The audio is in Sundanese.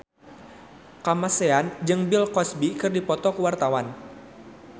Kamasean jeung Bill Cosby keur dipoto ku wartawan